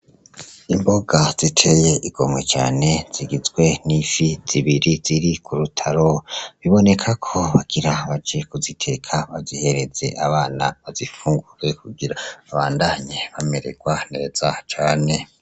Imboga ziteye igomwe cane zigizwe n'ifi zibiri ziri ku rutaro biboneka ko bagira baji kuziteka bazihereze abana bazifungurwe kugira abandanye bamererwa nereza cane.